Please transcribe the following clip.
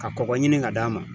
Ka kɔgɔ ɲini ka d'a ma.